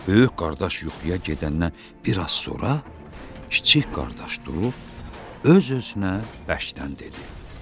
Böyük qardaş yuxuya gedəndən bir az sonra kiçik qardaş durub, öz-özünə bəşdən dedi.